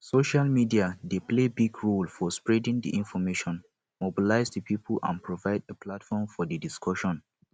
social media dey play big role for spreading di information mobilize di people and provide a platform for di discussion